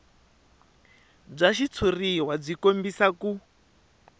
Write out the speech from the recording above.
bya xitshuriwa byi kombisa ku